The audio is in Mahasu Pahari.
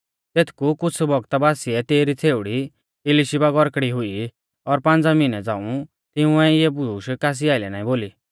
तेथकु कुछ़ बौगता बासिऐ तेसरी छ़ेउड़ी इलिशीबा गौरकड़ी हुई और पांज़ा मिहनै झ़ांऊ तिंउऐ इऐ बुशै कासी आइलै ना बोली